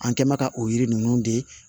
An kɛ mɛ ka o yiri ninnu de